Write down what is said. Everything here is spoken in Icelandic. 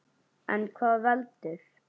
En hvað veldur?